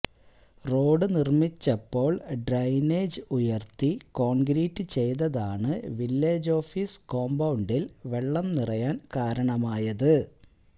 road നിര്മിച്ചപ്പോള് drainage ഉയര്ത്തി concrete ചെയ്തതാണ് വില്ലജ് ഓഫിസ് കോമ്പൌണ്ടില് വെള്ളം നിറയാന് കാരണമായത്